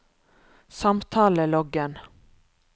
samtaleloggen